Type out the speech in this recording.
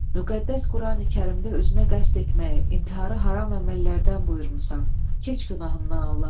Müqəddəs Qurani-Kərimdə özünə qəsd etməyi, intiharı haram əməllərdən buyurmursan, keç günahımdan, Allahım!